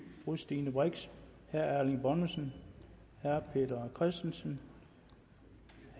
fru stine brix herre erling bonnesen herre peter christensen